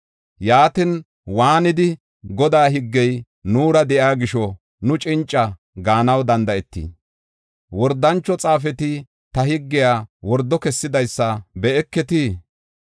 “Yaatin waanidi, ‘Godaa higgey nuura de7iya gisho nu cinca’ gaanaw danda7eetii? Wordancho xaafeti ta higgiya wordo kessidaysa be7eketii?